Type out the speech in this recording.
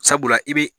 Sabula i be